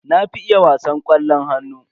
Na fi iya wasan ƙwallon hannu.